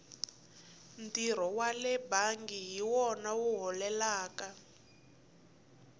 ntirho wale bangi hi wona wu holelaka